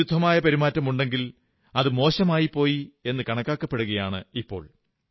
വിരുദ്ധമായ പെരുമാറ്റമാണെങ്കിൽ അത് മോശമായിപ്പോയി എന്നു കണക്കാക്കപെടുകയാണിപ്പോൾ